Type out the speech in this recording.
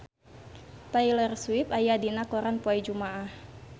Taylor Swift aya dina koran poe Jumaah